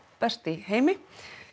best í heimi